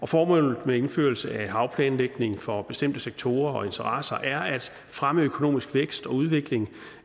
formålet med indførelse af havplanlægning for bestemte sektorer og interesser er at fremme økonomisk vækst og udvikling